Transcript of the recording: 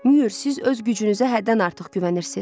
Müür, siz öz gücünüzə həddən artıq güvənirsiz.